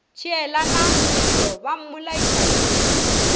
tšeelana mello ba mmolaiša phefo